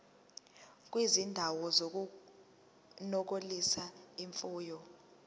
kwizindawo zokunonisela imfuyo